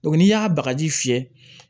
n'i y'a bagaji fiyɛ